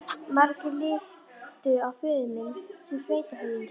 Margir litu á föður minn sem sveitarhöfðingja.